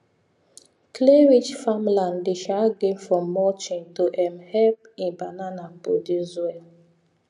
clayrich farmland dey gain from mulching to um help um banana produce well